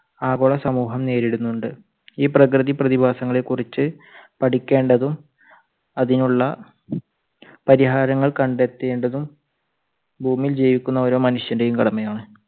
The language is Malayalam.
ആഗോള സമൂഹം നേരിടുന്നുണ്ട്. ഈ പ്രകൃതി പ്രതിഭാസങ്ങളെ കുറിച്ച് പഠിക്കേണ്ടതും അതിനുള്ള പരിഹാരങ്ങൾ കണ്ടത്തേണ്ടതും ഭൂമിയിൽ ജീവിക്കുന്ന ഓരോ മനുഷ്യന്റെയും കടമയാണ്.